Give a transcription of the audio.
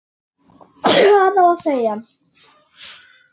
Hvað á að segja?